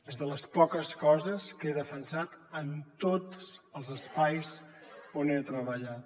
és de les poques coses que he defensat en tots els espais on he treballat